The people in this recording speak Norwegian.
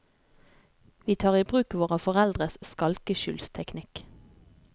Vi tar i bruk våre foreldres skalkeskjulsteknikk.